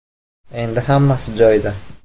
Endi hammasi joyida.